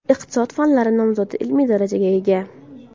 Iqtisod fanlari nomzodi ilmiy darajasiga ega.